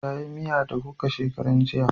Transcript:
Ta yi miya da kuka shakaran jiya